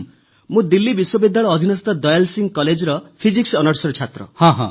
ମୁଁ ଦିଲ୍ଲୀ ବିଶ୍ୱବିଦ୍ୟାଳୟ ଅଧିନସ୍ଥ ଦୟାଲ ସିଂହ କଲେଜର ଫିଜିକ୍ସ ଅନର୍ସ ଛାତ୍ର